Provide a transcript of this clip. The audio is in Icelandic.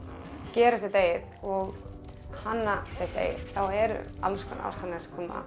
gera sitt eigið og hanna sitt eigið eru allskonar áskoranir sem koma